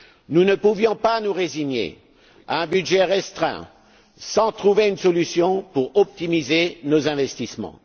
Nous ne pouvions pas nous résigner à un budget restreint sans trouver une solution pour optimiser nos investissements.